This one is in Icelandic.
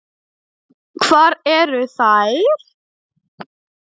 Hvar eru þær?